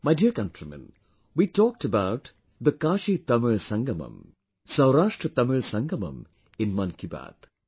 My dear countrymen, we talked about the KashiTamil Sangamam, SaurashtraTamil Sangamam in 'Mann Ki Baat'